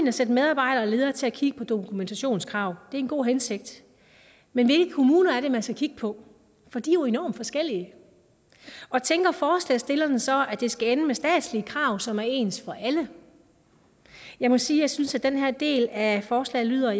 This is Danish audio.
at sætte medarbejdere og ledere til at kigge på dokumentationskrav det er en god hensigt men hvilke kommuner er det man skal kigge på for de er jo enormt forskellige og tænker forslagsstillerne så at det skal ende med statslige krav som er ens for alle jeg må sige at jeg synes at den her del af forslaget lyder